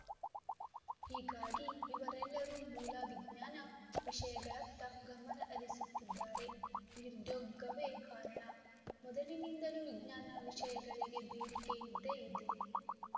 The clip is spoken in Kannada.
ಹೀಗಾಗಿ ಇವರೆಲ್ಲರೂ ಮೂಲ ವಿಜ್ಞಾನ ವಿಷಯಗಳತ್ತ ಗಮನ ಹರಿಸುತ್ತಿದ್ದಾರೆ ನಿರುದ್ಯೋಗವೇ ಕಾರಣ ಮೊದಲಿನಿಂದಲೂ ವಿಜ್ಞಾನ ವಿಷಯಗಳಿಗೆ ಬೇಡಿಕೆ ಇದ್ದೇ ಇದೆ